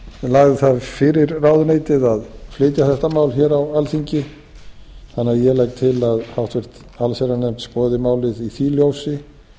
lagði það fyrir ráðuneytið að flytja þetta mál hér á alþingi þannig að ég legg til að háttvirta allsherjarnefnd skoði málið í því ljósi